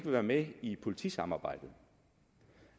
være med i politisamarbejdet